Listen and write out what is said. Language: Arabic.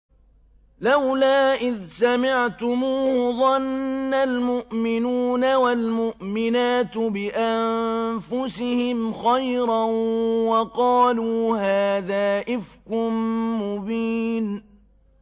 لَّوْلَا إِذْ سَمِعْتُمُوهُ ظَنَّ الْمُؤْمِنُونَ وَالْمُؤْمِنَاتُ بِأَنفُسِهِمْ خَيْرًا وَقَالُوا هَٰذَا إِفْكٌ مُّبِينٌ